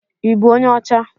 Ibu onye ọcha?